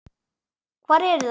Hvar eru þær?